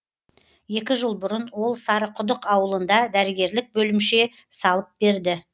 екі жыл бұрын ол сарықұдық ауылында дәрігерлік бөлімше салып берді